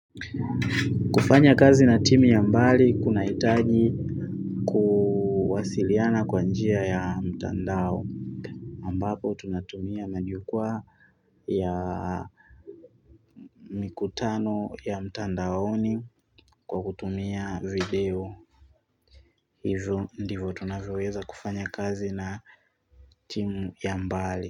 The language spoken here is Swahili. Kufanya kazi na timu ya mbali kuna hitaji kuwasiliana kwa njia ya mtandao ambapo tunatumia majukwaa ya mikutano ya mtandaoni kwa kutumia video. Hivo ndivo tunavoweza kufanya kazi na timu ya mbali.